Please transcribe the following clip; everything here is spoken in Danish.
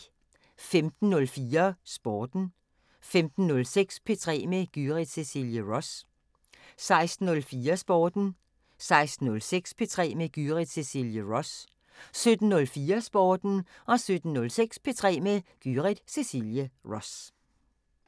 15:04: Sporten 15:06: P3 med Gyrith Cecilie Ross 16:04: Sporten 16:06: P3 med Gyrith Cecilie Ross 17:04: Sporten 17:06: P3 med Gyrith Cecilie Ross